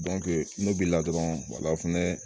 n'o b'i la dɔrɔn o fɛnɛ